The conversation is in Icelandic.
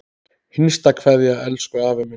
HINSTA KVEÐJA Elsku afi minn.